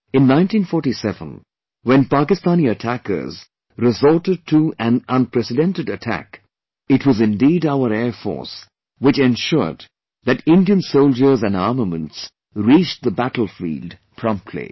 In 1947, when Pakistani attackers resorted to an unprecedented attack, it was indeed our Air Force which ensured that Indian Soldiers and armaments reached the battlefield promptly